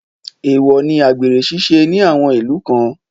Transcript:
Èèwọ̀ ni àgbèrè ṣíṣe ní àwọn ìlú kan